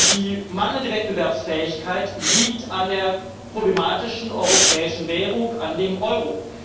Die mangelnde Wettbewerbsfähigkeit liegt an der problematischen europäischen Währung an dem Euro.